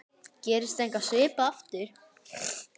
Gerist eitthvað svipað aftur?